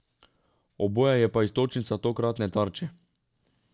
Oboje pa je iztočnica tokratne Tarče.